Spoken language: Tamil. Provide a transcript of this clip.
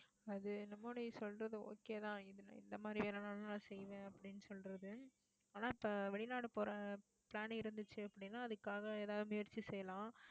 அது என்னமோ நீ சொல்றது okay தான். இந்த மாதிரி எதுனாலும் நான் செய்வேன் அப்படின்னு சொல்றது. ஆனா இப்ப வெளிநாடு போற plan இருந்துச்சு அப்படின்னா அதுக்காக எதாவது முயற்சி செய்யலாம்